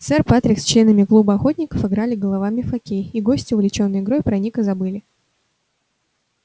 сэр патрик с членами клуба охотников играли головами в хоккей и гости увлечённые игрой про ника забыли